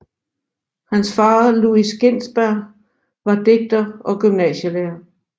Hans far Louis Ginsberg var digter og gymnasielærer